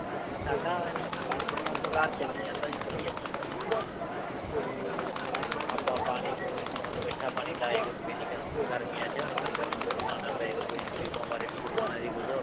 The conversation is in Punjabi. ਸਾਡਾ ਇਉਂ ਹੀ ਕੰਮ ਕਾਰ ਚੱਲੀ ਜਾਂਦਾ ਜੀ ਵਧੀਆ ਮਤਲਬ ਕਿ ਤੇ ਆਪਾਂ ਪਾਣੀ ਪੂਣੀ ਹੁਣ ਮਿੱਠਾ ਪਾਣੀ ਲਾਏ ਕਰਾਂਗਾ ਜੀ ਗਰਮ ਗਰਮੀਆਂ ਚ ਲੰਗਰ ਲੂੰਗਰ ਵੀ ਲਾਉਣਾ ਪਏ ਕਰੇਗਾ ਜੀ ਗ਼ਰੀਬਾਂ ਬਾਰੇ ਵੀ ਸੋਚਣਾ ਜੀ ਕੁਛ